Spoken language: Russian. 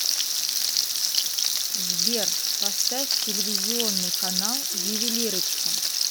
сбер поставь телевизионный канал ювелирочка